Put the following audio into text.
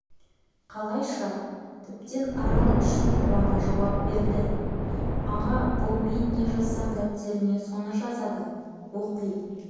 қалайша тіптен арал үшін қуана жауап берді аға бұл мен не жазсам дәптеріне соны жазады оқи